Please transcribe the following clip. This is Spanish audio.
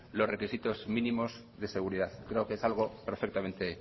los requisitos mínimos de seguridad creo que es algo perfectamente